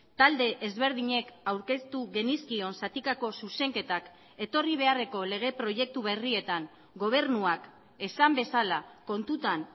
talde ezberdinek aurkeztu genizkion zatikako zuzenketak etorri beharreko lege proiektu berrietan gobernuak esan bezala kontutan